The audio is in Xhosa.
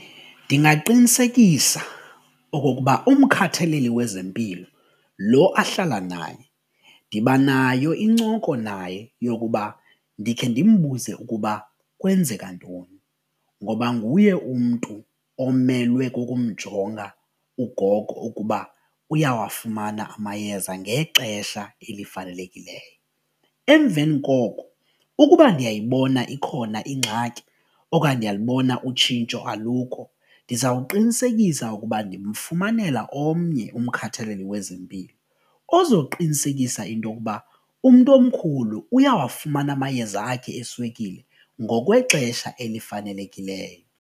Ndingaqinisekisa okokuba umkhathaleli wezempilo lo ahlala naye ndibanayo incoko naye yokuba ndikhe ndimbuze ukuba kwenzeka ntoni ngoba nguye umntu omelwe kukumjonga ugogo ukuba uyawafumana amayeza ngexesha elifanelekileyo. Emveni koko ukuba ndiyayibona ikhona ingxaki okanye ndiyalibona utshintsho alukho ndizawuqinisekisa ukuba ndimfumanela omnye umkhathaleli wezempilo ozoqinisekisa intokuba umntu omkhulu uyawafumana amayeza akhe eswekile ngokwexesha elifanelekileyo.